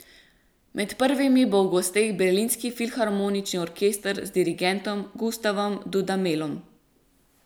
Med prvimi bo v gosteh Berlinski filharmonični orkester z dirigentom Gustavom Dudamelom.